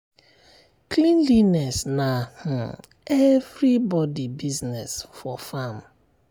cleanliness na um everybody business for farm.